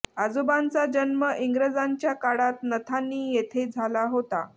आजोबांचा जन्म इंग्रजांच्या काळात नथांनी येथे झाला होता